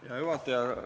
Hea juhataja!